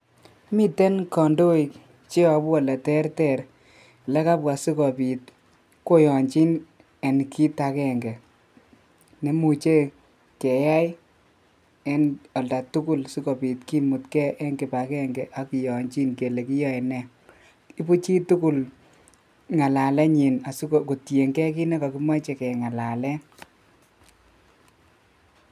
Miten kandoik cheyobu oleteter le kabwa sikobit koyanchin en kiit akenge, nemuche keyai en olda tugul sikobit kimutgei eng kibakenge ak kiyanchin kele kiyoe nee, ibu chii tugul ngalalenyin kotiengei kiit ne kakimoche kengalalen.